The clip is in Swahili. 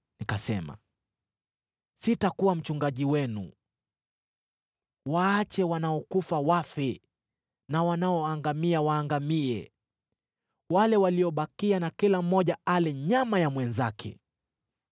nikasema, “Sitakuwa mchungaji wenu. Waache wanaokufa wafe na wanaoangamia waangamie. Wale waliobakia kila mmoja na ale nyama ya mwenzake.”